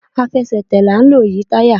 Àfẹsẹ̀tẹ̀ la n lò yi tayá